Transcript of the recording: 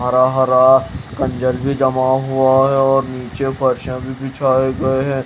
हरा हरा कंजर भी जमा हुआ है और नीचे फर्शें भी बिछाए गए हैं।